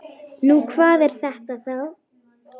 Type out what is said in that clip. Nú, hvað er þetta þá?